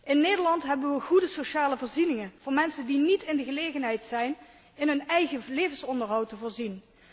In Nederland hebben we goede sociale voorzieningen voor mensen die niet in de gelegenheid zijn in hun eigen levensonderhoud te voorzien.